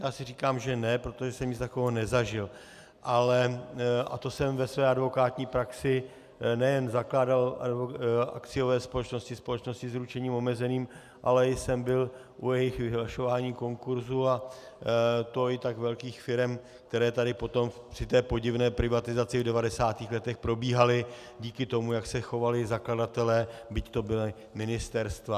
Já si říkám, že ne, protože jsem nic takového nezažil, a to jsem ve své advokátní praxi nejen zakládal akciové společnosti, společnosti s ručením omezeným, ale i jsem byl u jejich vyhlašování konkurzů, a to i tak velkých firem, které tady potom při té podivné privatizaci v 90. letech probíhalo díky tomu, jak se chovali zakladatelé, byť to byla ministerstva.